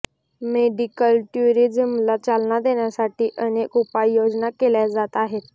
medical टुरिझमला चालना देण्यासाठी अनेक उपाययोजना केल्या जात आहेत